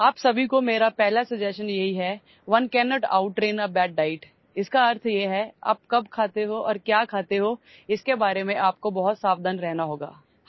আপোনালোক সকলোকে মোৰ প্ৰথম পৰামৰ্শ হল আপুনি কি খাব আৰু কেতিয়া খাব সেই বিষয়ে অতি সাৱধান হব লাগিব